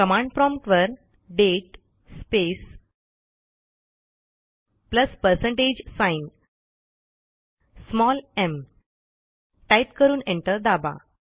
command promptवर दाते space plus percentage sign mटाईप करून एंटर दाबा